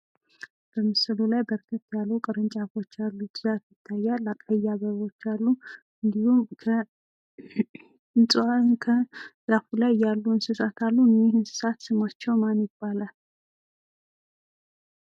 በምስሉ ላይ በርከት ያሉ ቅርንጫፎች ያሉት ዛፍ ይታያል ። ቀይ አበቦች አሉ ። እንዲሁም ከዛፉ ላይ ያሉ እንስሳት አሉ እነዚህ እንስሳት ስማቸው ማን ይባላል?